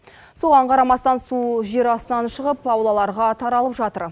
соған қарамастан су жер астынан шығып аулаларға таралып жатыр